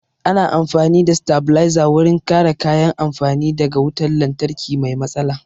Ana amfani da sitabilizer wurin kare kayan amfani da ga wutan lantarki mai matsala